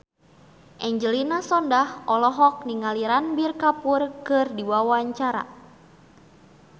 Angelina Sondakh olohok ningali Ranbir Kapoor keur diwawancara